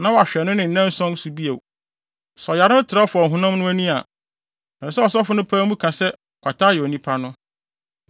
na wahwɛ no ne nnanson so bio. Sɛ ɔyare no trɛw fa ɔhonam no ani a, ɛsɛ sɛ ɔsɔfo no pae mu ka se kwata ayɛ onipa no.